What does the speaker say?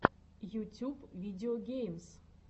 ютюб видеогеймс